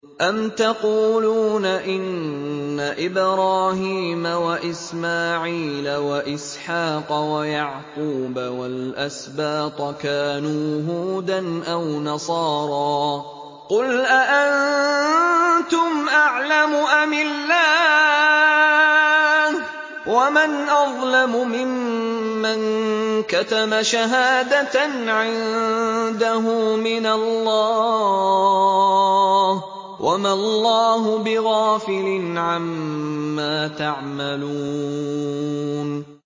أَمْ تَقُولُونَ إِنَّ إِبْرَاهِيمَ وَإِسْمَاعِيلَ وَإِسْحَاقَ وَيَعْقُوبَ وَالْأَسْبَاطَ كَانُوا هُودًا أَوْ نَصَارَىٰ ۗ قُلْ أَأَنتُمْ أَعْلَمُ أَمِ اللَّهُ ۗ وَمَنْ أَظْلَمُ مِمَّن كَتَمَ شَهَادَةً عِندَهُ مِنَ اللَّهِ ۗ وَمَا اللَّهُ بِغَافِلٍ عَمَّا تَعْمَلُونَ